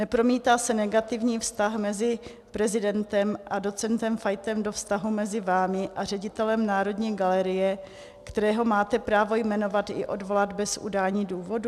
Nepromítá se negativní vztah mezi prezidentem a docentem Fajtem do vztahu mezi vámi a ředitelem Národní galerie, kterého máte právo jmenovat i odvolat bez udání důvodu?